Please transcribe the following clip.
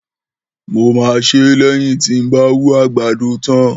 Mò mà sẹ lẹ́yìn ti ń bà wù àgbàdó tan.